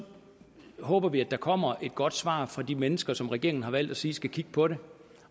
håber vi at der kommer et godt svar fra de mennesker som regeringen har valgt at sige skal kigge på det